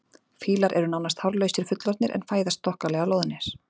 Fílar eru nánast hárlausir fullorðnir en fæðast þokkalega loðnir.